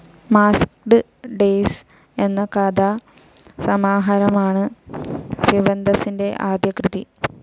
Masked Days എന്ന കഥാസമാഹാരമാണ് ഫ്യവന്തസ്സിന്റെ ആദ്യ കൃതി.